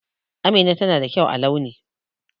Amina tana da kyau a launi.